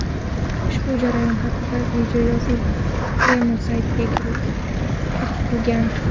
Ushbu jarayon haqida videoyozuv Kreml saytida keltirilgan.